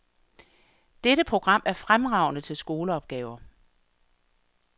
Dette program er fremragende til skoleopgaver.